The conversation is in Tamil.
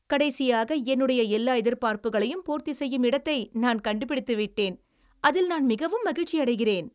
கடைசியாக, என்னுடைய எல்லா எதிர்பார்ப்புகளையும் பூர்த்தி செய்யும் இடத்தை நான் கண்டுபிடித்து விட்டேன், அதில் நான் மிகவும் மகிழ்ச்சியடைகிறேன்.